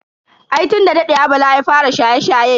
Ai tun da dadewa bala ya fara shaye-shaye.